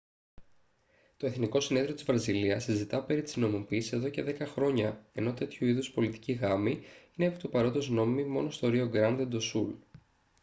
το εθνικό συνέδριο της βραζιλίας συζητά περί της νομιμοποίησης εδώ και δέκα χρόνια ενώ τέτοιου είδους πολιτικοί γάμοι είναι επί του παρόντος νόμιμοι μόνο στο ρίο γκράντε ντο σουλ